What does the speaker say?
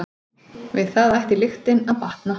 Við það ætti lyktin að batna.